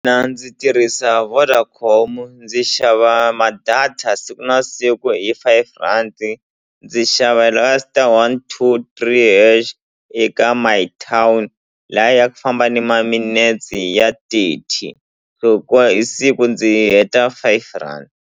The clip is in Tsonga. ndzi tirhisa Vodacom ndzi xava ma-data siku na siku hi five rhandi ndzi xava la ka star one two three hash eka My Town liya ya ku famba ni ma minetsi ya thirty so hikuva hi siku ndzi heta five rand.